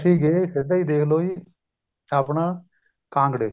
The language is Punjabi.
ਅਸੀਂ ਗਏ ਸਿੱਧਾ ਹੀ ਦੇਖਲੋ ਜੀ ਆਪਣਾ ਕਾਂਗੜੇ